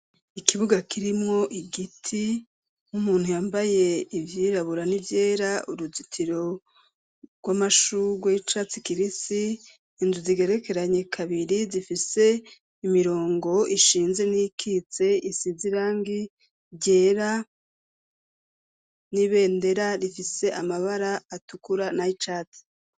Ikibuga kirimo igiti 'umuntu yambaye ibyirrabura n'ibyera uruzitiro rw'amashugo y'icatsi kibisi inzu zigerekeranye kabiri zifise imirongo ishinze n'ikitse isizirangi ryera n'ibendera rifise amabara atukura na ichatsi.